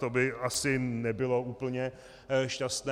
To by asi nebylo úplně šťastné.